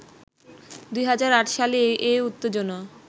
২০০৮ সালে এ উত্তেজনা